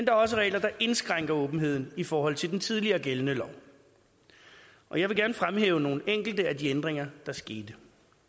er også regler der indskrænker åbenheden i forhold til den tidligere gældende lov og jeg vil gerne fremhæve nogle enkelte af de ændringer der skete